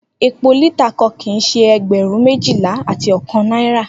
Epo lita kan kii ṣe ẹgbẹrun mejila ati ọkan naira.